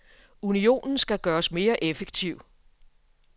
Unionen skal gøres mere effektiv.